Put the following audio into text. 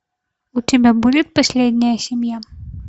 у тебя будет последняя семья